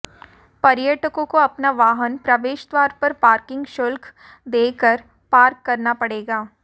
पर्यटकों को अपना वाहन प्रवेश द्वार पर पार्किंग शुल्क देकर पार्क करना पड़ेगा